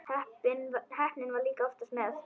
Heppnin var líka oftast með.